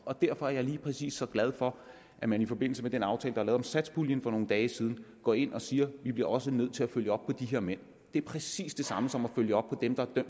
og derfor er jeg lige præcis så glad for at man i forbindelse med den aftale om satspuljen for nogle dage siden går ind og siger at vi også bliver nødt til at følge op på de her mænd det er præcis det samme som at følge op på dem der er